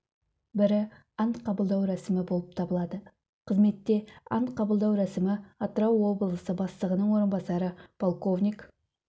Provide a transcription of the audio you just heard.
бірі ант қабылдау рәсімі болып табылады қызметте ант қабылдау рәсімі атырау облысы бастығының орынбасары полковник